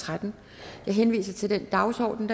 tretten jeg henviser til den dagsorden